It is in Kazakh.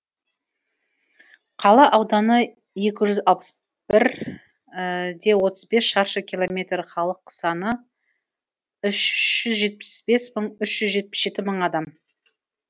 қала ауданы екі жүз алпыс бір де отыз бес шаршы километр халық саны үш жүз жетпіс бес мың үш жүз жетпіс жеті мың адам